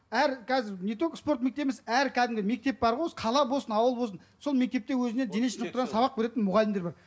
әр қазір не только спорт мектебі емес әр кәдімгі мектеп бар ғой осы қала болсын ауыл болсын сол мектепте өзіне дене шынықтырудан сабақ беретін мұғалімдер бар